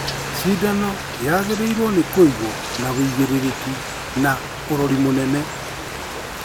Cindano yagĩrĩirwo nĩ kũigwo na wĩigĩrĩrĩki na ũrori mũnene